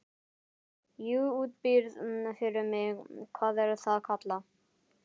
Þú útbýrð fyrir mig- hvað er það kallað?